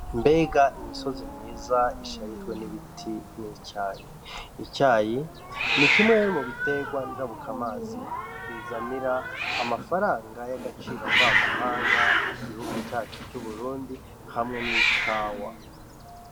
Mbega imisozi myiza isharijwe n' ibiti n' icayi, icayi ni kimwe mu bitegwa njabuka mazi bizanira amafaranga y' agaciro mva mahanga mu gihugu cacu c'Uburundi hamwe n' ikawa.